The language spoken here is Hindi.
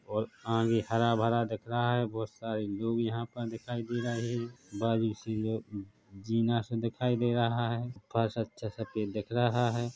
हरा -भरा दिख रहा है बहुत सारी लोग यहाँ पर दिखाई दे रहे दिखाई दे रहा है सफ़ेद दिख रहा है।